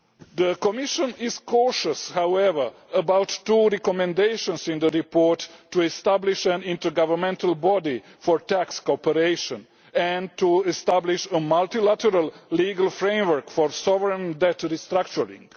The Commission is cautious, however, about two recommendations in the report to establish an intergovernmental body for tax cooperation and to establish a multilateral legal framework for sovereign debt restructuring.